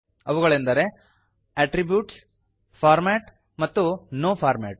ಅವುಗಳೆಂದರೆ attributes format ಮತ್ತು no format